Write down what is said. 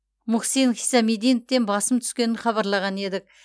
мухсин хисамиддиновтен басым түскенін хабарлаған едік